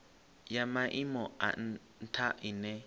ya maimo a ntha ine